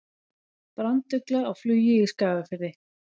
Brandugla á flugi í Skagafirði.